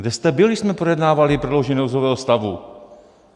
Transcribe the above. Kde jste byl, když jsme projednávali prodloužení nouzového stavu?